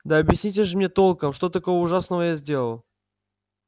да объясните же мне толком что такого ужасного я сделал